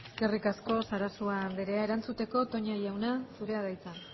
eskerrik asko sarasua anderea erantzuteko toña jauna zurea da hitza